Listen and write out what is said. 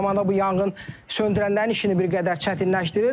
Eyni zamanda bu yanğın söndürənlərin işini bir qədər çətinləşdirir.